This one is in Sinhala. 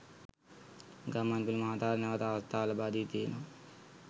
ගම්මන්පිල මහතාට නැවත අවස්ථාව ලබාදී තියෙනවා.